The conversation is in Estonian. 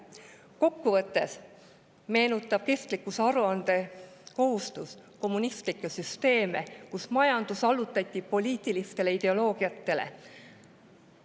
Kokkuvõttes meenutab kestlikkusaruande kohustus kommunistlikke süsteeme, kus majandus allutati poliitilistele ideoloogiatele.